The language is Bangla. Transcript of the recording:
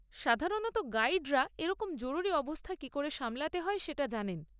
সাধারণত গাইডরা এইরকম জরুরি অবস্থা কি করে সামলাতে হয় সেটা জানেন।